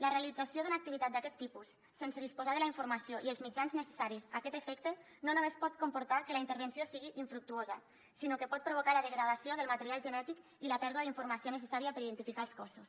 la realització d’una activitat d’aquest tipus sense disposar de la informació i els mitjans necessaris a aquest efecte no només pot comportar que la intervenció sigui infructuosa sinó que pot provocar la degradació del material genètic i la pèrdua d’informació necessària per identificar els cossos